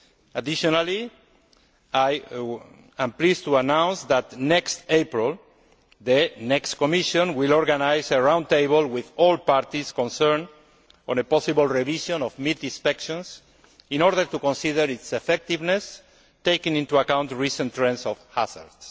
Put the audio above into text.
Additionally, I am pleased to announce that next April, the next Commission will organise a round table with all parties concerned on a possible revision of meat inspections in order to consider its effectiveness, taking into account recent trends of hazards.